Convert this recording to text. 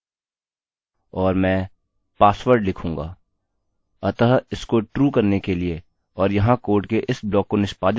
अतः इसको ट्रूtrue करने के लिए और यहाँ कोड के इस ब्लॉक को निष्पादित करने के लिए इस username और password की आवश्यकता है